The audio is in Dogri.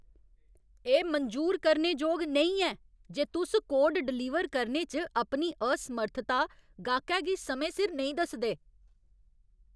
एह् मंजूर करने जोग नेईं ऐ जे तुस कोड डलीवर करने च अपनी असमर्थता गैह्कै गी समें सिर नेईं दसदे।